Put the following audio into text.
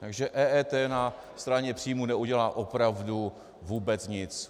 Takže EET na straně příjmů neudělá opravdu vůbec nic.